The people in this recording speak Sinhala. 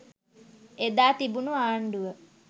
ඒදා තිබුණු ආණ්ඩුව